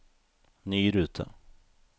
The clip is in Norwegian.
ny rute